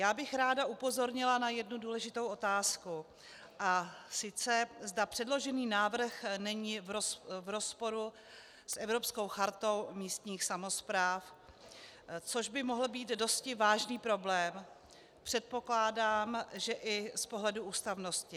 Já bych ráda upozornila na jednu důležitou otázku, a sice zda předložený návrh není v rozporu s Evropskou chartou místních samospráv, což by mohl být dosti vážný problém, předpokládám, že i z pohledu ústavnosti.